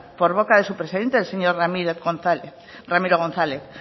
por boca de su presidente el señor ramiro gonzález